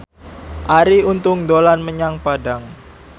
Arie Untung dolan menyang Padang